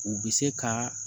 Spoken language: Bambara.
U bɛ se ka